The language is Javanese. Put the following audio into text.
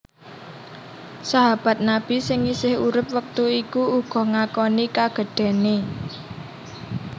Sahabat Nabi sing isih urip wektu iku uga ngakoni kagedhéné